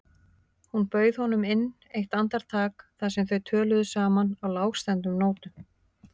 Hún bauð honum inn eitt andartak þar sem þau töluðu saman á lágstemmdum nótum.